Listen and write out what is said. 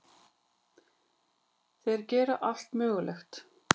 Þeir gera allt mögulegt.